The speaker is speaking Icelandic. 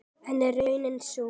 En er raunin sú?